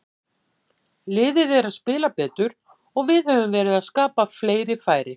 Liðið er að spila betur og við höfum verið að skapa fleiri færi.